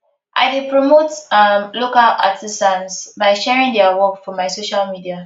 i dey promote um local artisans by sharing their work for my social media